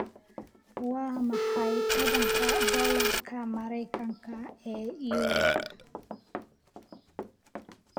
Waa maxay tobanka doolarka maraykanka ee yuuro?